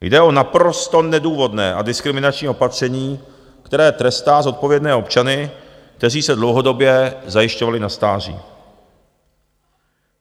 Jde o naprosto nedůvodné a diskriminační opatření, které trestá zodpovědné občany, kteří se dlouhodobě zajišťovali na stáří.